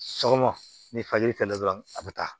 Sɔgɔma ni fajiri filɛ dɔrɔn a bɛ taa